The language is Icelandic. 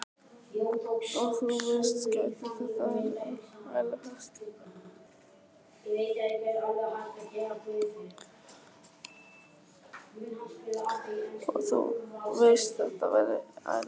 Og þú veist, gæti þetta verið ælupest?